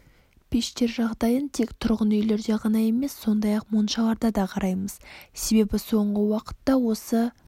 пештер жағдайын тек тұрғын үйлерде ғана емес сондай-ақ моншаларда да қараймыз себебі соңғы уақытта осы